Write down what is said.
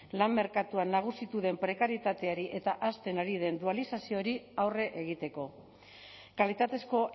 lan merkatuan nagusitu den prekarietateari eta hazten ari den dualizazioari aurre egiteko kalitatezko